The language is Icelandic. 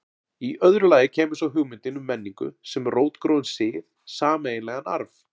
Í öðru lagi kæmi svo hugmyndin um menningu sem rótgróinn sið, sameiginlegan arf.